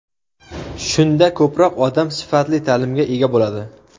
Shunda ko‘proq odam sifatli ta’limga ega bo‘ladi.